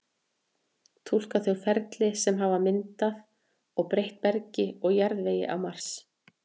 túlka þau ferli sem hafa myndað og breytt bergi og jarðvegi á mars